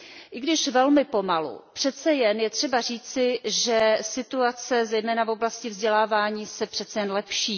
I když velmi pomalu, přeci jen je třeba říci, že situace zejména v oblasti vzdělávání se lepší.